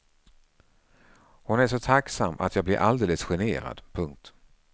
Hon är så tacksam att jag blir alldeles generad. punkt